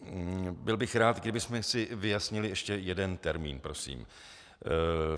Byl bych rád, kdybychom si vyjasnili ještě jeden termín prosím.